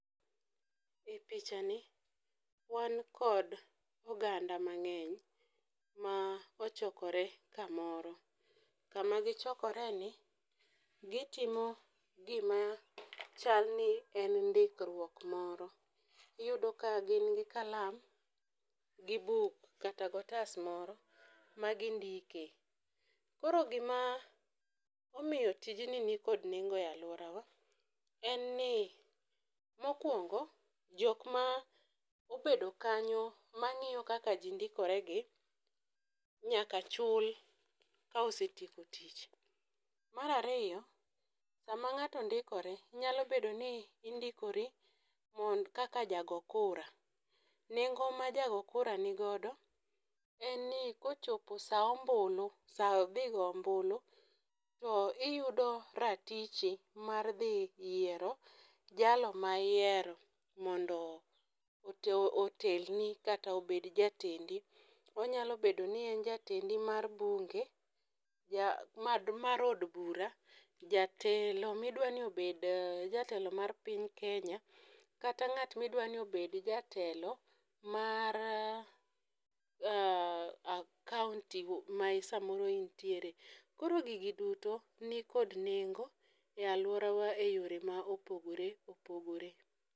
E pichani, wan kod oganda mang'eny ma ochokore kamoro. Kama gichokoreni, gitimo gima chalni en ndikruoko moro. Iyudo ka gin gi kalam, gi buk kata go otas moro, ma gindike. Koro gima omiyo tijni nikod nengo e aluorawa, en ni. Mokuongo, jokma obedo kanyo mang'iyo kaka ji ndikore gi nyaka chul ka osetieko tich. Mar ariyo, sama ng'ato ndikore, nyalo bedoni indikori kaka jago kura. Nengo ma jago kura nigodo, en ni kochopo sa ombulu, sa dhi go ombulu, to iyudo ratiche mar dhi yiero jalo ma ihero mondo otelni kata obed jatendi. Onyalo bedoni en jatendi mar bunge, mar od bura. Jatelo midwani obed jatelo mar piny Kenya, kata ng'at midwani obed jatelo mar county masamoro intiere. Koro gigi duto nikod nengo e aluorawa e yore maopogore opogore.